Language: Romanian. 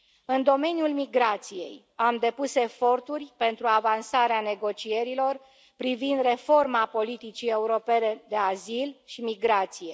În domeniul migrației, am depus eforturi pentru avansarea negocierilor privind reforma politicii europene de azil și migrație.